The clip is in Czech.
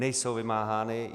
Nejsou vymáhány.